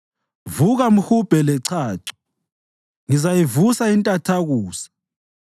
Vuka, mhubhe lechacho! Ngizayivusa intathakusa.